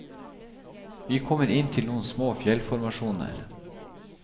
Vi kommer inn til noen små fjellformasjoner.